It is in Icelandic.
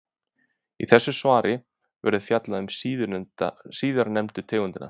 Í þessu svari verður fjallað um síðarnefndu tegundina.